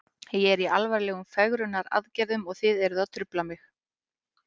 Ég er í alvarlegum fegrunaraðgerðum og þið eruð að trufla mig.